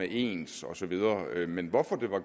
ens og så videre men hvorfor var